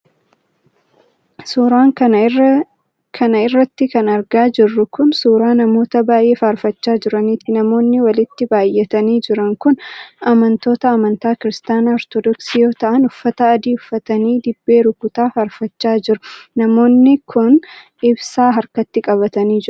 Suura kana irratti kan argaa jirru kun, suura namoota baay'ee faarfachaa jiraniiti. Namoonni walitti baay'atanii jiran kun, amantoota amantaa Kiristaana Ortodooksii yoo ta'an, uffata adii uffatanii ,dibbee rukutaa faarfachaa jiru. Namoonni kun, ibsaa harkatti qabatanii jiru.